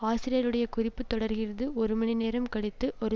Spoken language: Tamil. ஆசிரியருடைய குறிப்பு தொடர்கிறது ஒரு மணி நேரம் கழித்து ஒரு